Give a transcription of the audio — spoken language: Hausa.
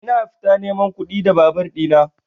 Ina fita neman kuɗi da babur ɗina.